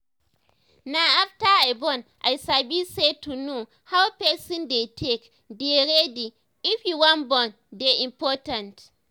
na after i born i sabi say to know how person dey take dey ready if you wan born dey important